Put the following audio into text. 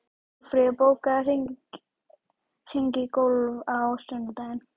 Málfríður, bókaðu hring í golf á sunnudaginn.